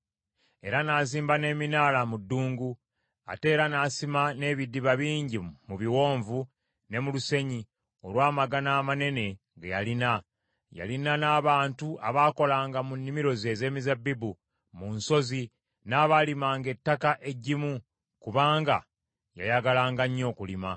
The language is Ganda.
Era n’azimba n’eminaala mu ddungu, ate era n’asima n’ebidiba bingi mu biwonvu ne mu lusenyi, olw’amaggana amanene ge yalina. Yalina n’abantu abaakolanga mu nnimiro ze ez’emizabbibu mu nsozi n’abaalimanga ettaka eggimu, kubanga yayagalanga nnyo okulima.